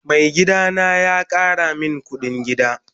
Mai gida na ya Kara min kudin gida.